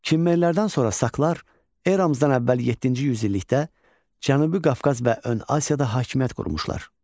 Kimmerlərdən sonra saklar eramızdan əvvəl yeddinci yüz illikdə Cənubi Qafqaz və Ön Asiyada hakimiyyət qurmuşlar.